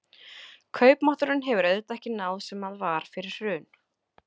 Kaupmátturinn hefur auðvitað ekki náð sem að var fyrir hrun?